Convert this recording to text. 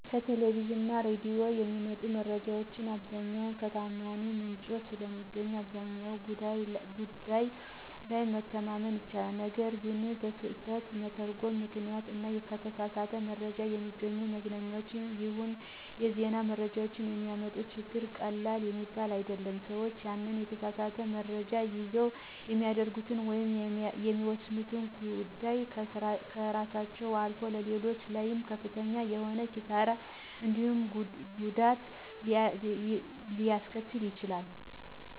ከቴሌቪዥን እና ሬዲዮ የሚመጡ መረጃዎች በብዛት ከተዓማኒ ምንጭ ስለሚገኙ አብዛኛው ጉዳይ ላይ መተማመን ይቻላል። ነገር ግን በስህተት መተርጐም ምክንያት እና ከተሳሳት መረጃ የሚገኙ የመዝናኛም ይሁን የዜና መረጃዎች የሚያመጡት ችግር ቀላል የሚባል አይደለም። ሰዎች ያንን የተሳሳት መረጃ ይዘው የሚያደርጉት ወይም የሚወስኑት ጉዳይ ከራሳቸው አልፎ ሌሎች ላይም ከፍተኛ የሆነ ኪሣራ እንዲሁም ጉዳት ሊያስከትሉ ይችላሉ።